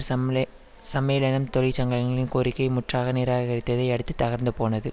சம்லே சம்மேளனம் தொழிற்சங்கங்களின் கோரிக்கை முற்றாக நிராகரித்ததை அடுத்து தகர்ந்து போனது